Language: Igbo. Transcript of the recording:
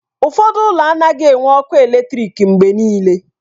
Ụfọdụ ụlọ anaghị enwe ọkụ eletrik mgbe niile